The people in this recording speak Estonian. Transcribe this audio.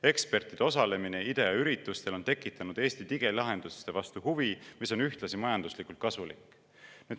Ekspertide osalemine IDEA üritustel on tekitanud Eesti digilahenduste vastu huvi, mis on ühtlasi majanduslikult kasulik.